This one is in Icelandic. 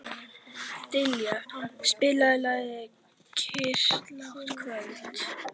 Dallilja, spilaðu lagið „Kyrrlátt kvöld“.